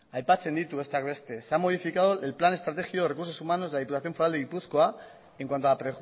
aipatzen ditu besteak beste se ha modificado el plan estratégico de recursos humanos de la diputación foral de gipuzkoa en cuanto a